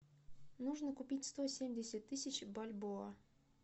нужно купить сто семьдесят тысяч бальбоа